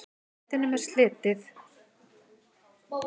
Réttinum er slitið.